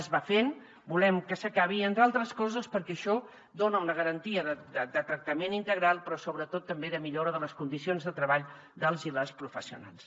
es va fent volem que s’acabi entre d’altres coses perquè això dona una garantia de tractament integral però sobretot també de millora de les condicions de treball dels i les professionals